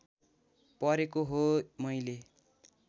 परेको हो मैले